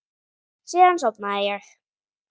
Síðan sofnaði ég.